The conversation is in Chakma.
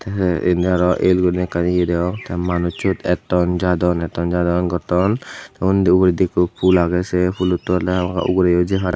enhe inni arow el girinei ekkan ye degong te manuch siyot etton jadon etton jadon gotton te undi ugurendi ekko pul agey se phulottun ugureyo je parey.